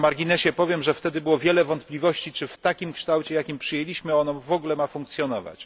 Tak na marginesie powiem, że wtedy było wiele wątpliwości, czy w takim kształcie, jaki je przyjęliśmy, ono w ogóle może funkcjonować.